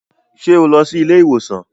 Ṣe o lọ sí ilé-ìwosan?